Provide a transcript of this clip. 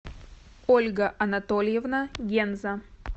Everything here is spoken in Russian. ольга анатольевна генза